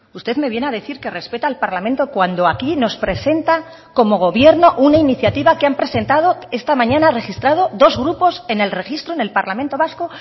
usted me viene a decir que respeta al parlamento cuando aquí nos presenta como gobierno una iniciativa que han presentado esta mañana registrado dos grupos en el registro en el parlamento vasco